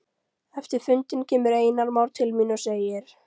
Eftir fundinn kemur Einar Már til mín og segir